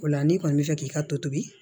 O la n'i kɔni bɛ fɛ k'i ka tobi